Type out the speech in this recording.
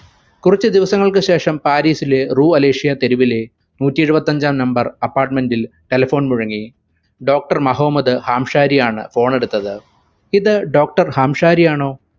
കുറച്ചു ദിവസങ്ങൾക്കു ശേഷം പാരിസിലെ റു അലേഷ്യ തെരുവിലെ നൂറ്റി ഇരുപറ്റത്തഞ്ചാം apartment ൽ telephone മുഴങ്ങി doctor മോഹോമ്മദ് ഹാംശാരി ആണ് phone എടുത്തത് ഇത് doctor ഹാംശാരി ആണൊ